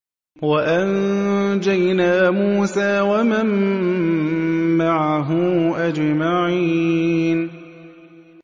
وَأَنجَيْنَا مُوسَىٰ وَمَن مَّعَهُ أَجْمَعِينَ